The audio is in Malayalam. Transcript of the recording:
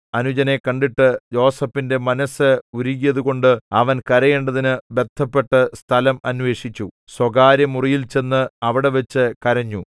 അനുജനെ കണ്ടിട്ട് യോസേഫിന്റെ മനസ്സ് ഉരുകിയതുകൊണ്ട് അവൻ കരയേണ്ടതിനു ബദ്ധപ്പെട്ടു സ്ഥലം അന്വേഷിച്ച് സ്വകാര്യമുറിയിൽചെന്ന് അവിടെവച്ചു കരഞ്ഞു